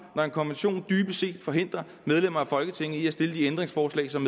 når en konvention dybest set forhindrer medlemmer af folketinget i at stille de ændringsforslag som